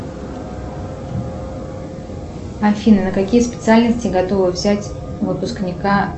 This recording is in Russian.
афина на какие специальности готовы взять выпускника